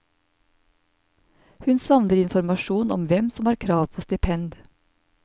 Hun savner informasjon om hvem som har krav på stipend.